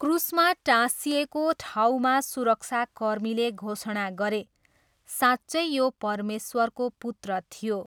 क्रुसमा टाँसिएको ठाउँमा सुरक्षाकर्मीले घोषणा गरे, 'साँच्चै यो परमेश्वरको पुत्र थियो!'